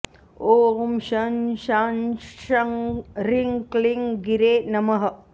ॐ शं शां षं ह्रीं क्लीं गिरे नमः